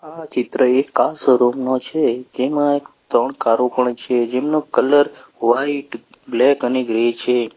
આ ચિત્ર એક આ કાર શોરૂમ નો છે જેમાં ત્રણ કારો પણ છે જેમનો કલર વાઈટ બ્લેક અને ગ્રે છે.